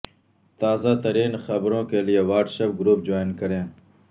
تازہ ترین خبروں کے لیے واٹس گروپ جوائن کریں